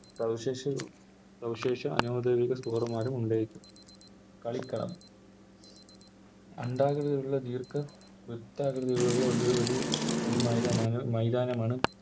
സവിശേഷ സവിശേഷ അനൗദ്യോഗിക Scorer മാരും ഉണ്ടായിരിക്കും കളിക്കാർ അണ്ഡാകൃതിയിലുള്ള ദീർഘ വൃത്താകൃതിയിലുള്ള ഒരേയൊരു ഈ മൈതാനമാണ് മൈതാനമാണ്